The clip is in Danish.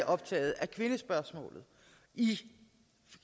optaget af kvindespørgsmålet i